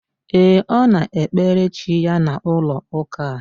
Ee, Ọ na ekpere chi ya na ụlọ ụka a